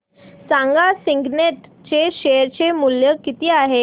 सांगा सिग्नेट चे शेअर चे मूल्य किती आहे